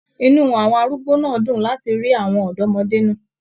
Inú àwọn arúgbó náà dún láti rí àwọn ọdọmọde náà.